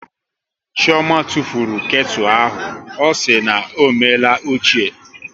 Chioma tụfuru ketu ahụ, ọ sị na ọ meela ochie